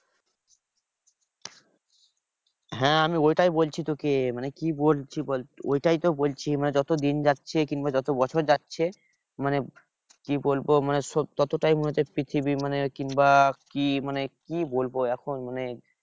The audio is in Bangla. হ্যাঁ আমি ওটাই বলছি তোকে মানে কি বলছি বল ওটাই তো বলছি মানে যতদিন যাচ্ছে কিংবা যত বছর যাচ্ছে মানে কি বলবো মানে ততটাই মনে হচ্ছে পৃথিবী মানে কিংবা কি মানে কি বলবো এখন মানে